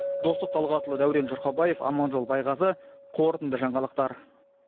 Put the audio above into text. достық талғатұлы дәурен жұрқабаев аманжол байғазы қорытынды жаңалықтар